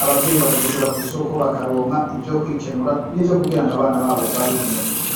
abavyeyi bakagishora kw'isoko bakaronka ivyo kwikenura n'ivyo kugira ngw'abana babo babeho neza.